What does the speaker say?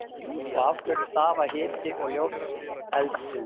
Og af hverju stafa hiti og ljós eldsins?